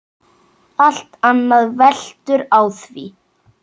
Allt annað veltur á því.